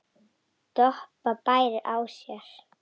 Doppa bærir á sér.